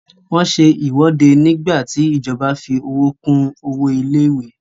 Wọ́n se ìwọ́de nígbà tí ìjọba fí owó kún owó ilé ìwé.